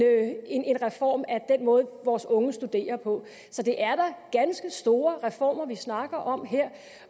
reform af den måde vores unge studerer på så det er da ganske store reformer vi snakker om her